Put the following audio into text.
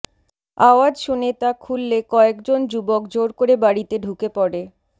আওয়াজ শুনে তা খুললে কয়েকজন যুবক জোর করে বাড়িতে ঢুকে পড়ে